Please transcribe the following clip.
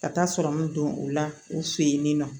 Ka taa sɔrɔ an me don o la u fe yen ni nɔ